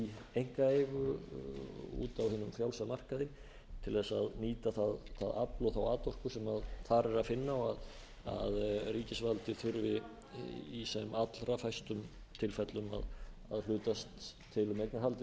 einkaeigu úti á hinum frjálsa markaði til þess að nýta það afl og þá atorku sem þar er að finna og að ríkisvaldið þurfi í sem allra fæstum tilfellum að hlutast til um eignarhaldið